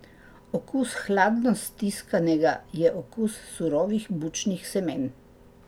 Okus hladno stiskanega je okus surovih bučnih semen.